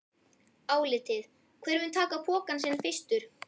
Álitið: Hver mun taka pokann sinn fyrstur?